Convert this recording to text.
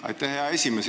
Aitäh, hea esimees!